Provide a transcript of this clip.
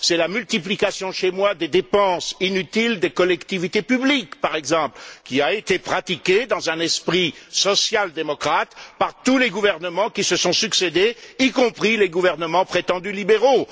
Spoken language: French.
C'est la multiplication, dans mon pays, des dépenses inutiles des collectivités publiques, par exemple, qui a été pratiquée dans un esprit social démocrate par tous les gouvernements qui se sont succédés, y compris les gouvernements prétendument libéraux.